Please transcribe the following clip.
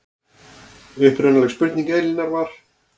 Upprunaleg spurning Elínar var